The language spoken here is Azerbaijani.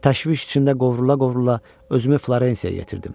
Təşviş içində qovrula-qovrula özümü Florensiyaya yetirdim.